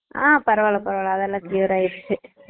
அஹ் பரவால்ல பரவால்ல அதுஎல்லாம் clear ஆய்டுச்சு